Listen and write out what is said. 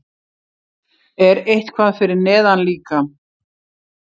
Er eitthvað fyrir neðan líka?